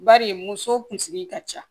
Bari muso kunsigi ka ca